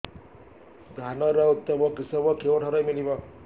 ଧାନର ଉତ୍ତମ କିଶମ କେଉଁଠାରୁ ମିଳିବ